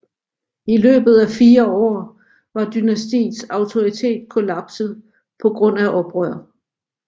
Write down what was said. I løbet af fire år var dynastiets autoritet kollapset på grund af oprør